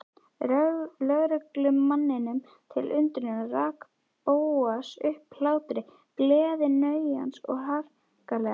Lögreglumanninum til undrunar rak Bóas upp hlátur, gleðisnauðan og harkalegan.